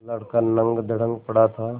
लड़का नंगधड़ंग पड़ा था